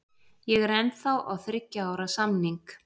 Ég er ennþá á þriggja ára samning.